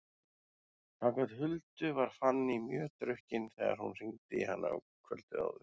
Samkvæmt Huldu var Fanný mjög drukkin þegar hún hringdi í hana kvöldið áður.